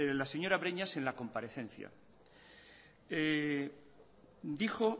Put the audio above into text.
la señora breñas en la comparecencia dijo